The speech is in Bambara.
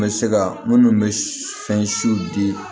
N bɛ se ka minnu bɛ fɛn siw di